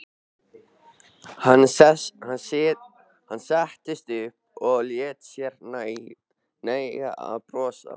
Hann settist upp og lét sér nægja að brosa.